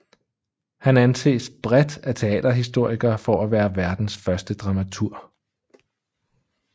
Han anses bredt af teaterhistorikere for at være verdens første dramaturg